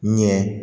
Ɲɛ